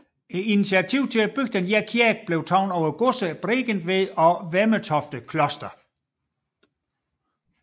Initiativet til at bygge denne kirke blev taget af godserne Bregentved og Vemmetofte Kloster